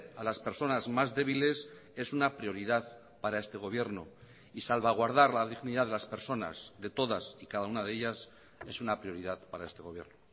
a las personas más débiles es una prioridad para este gobierno y salvaguardar la dignidad de las personas de todas y cada una de ellas es una prioridad para este gobierno